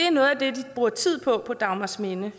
bruger tid på på dagmarsminde